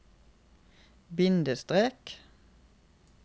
bindestrek